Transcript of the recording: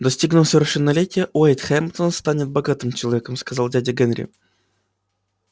достигнув совершеннолетия уэйд хэмптон станет богатым человеком сказал дядя генри